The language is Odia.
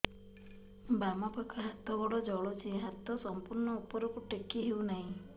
ବାମପାଖ ହାତ ଗୋଡ଼ ଜଳୁଛି ହାତ ସଂପୂର୍ଣ୍ଣ ଉପରକୁ ଟେକି ହେଉନାହିଁ